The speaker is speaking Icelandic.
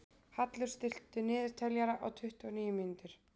Hallur, stilltu niðurteljara á tuttugu og níu mínútur.